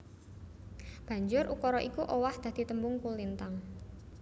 Banjur ukara iku owah dadi tembung kolintang